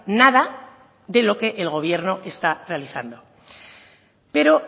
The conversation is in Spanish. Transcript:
nada de lo que el gobierno está realizando pero